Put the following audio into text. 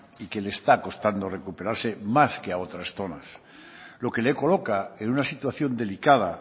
y que le está costando recuperarse más que a otras zonas lo que le coloca en una situación delicada